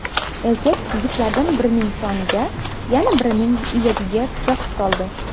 Erkak yigitlardan birining soniga, yana birining iyagiga pichoq soldi.